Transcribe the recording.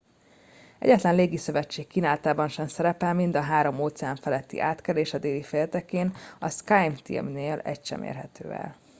egyetlen légiszövetség kínálatában sem szerepel mind a három óceán feletti átkelés a déli féltekén a skyteam-nél egy sem érhető el